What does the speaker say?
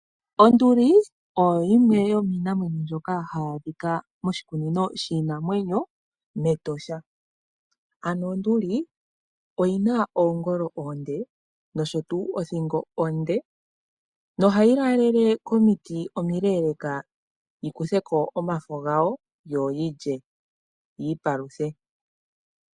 Onduli oyo yimwe yomiinamwenyo mbyoka hayi adhika moshikunino shiinamwenyo mEtosha. Ano Onduli oyina oongolo oonde nosho tuu othingo onde. No hayi laalele komiti omileeleka yi kuthe ko omafo gawo yo yilye yi ipaluthe.